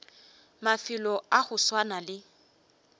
mafelo a go swana le